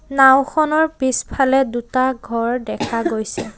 নাওখনৰ পিছফালে দুটা ঘৰ দেখা গৈছে।